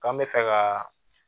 K'an bɛ fɛ ka